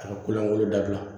A ka kolonko dabila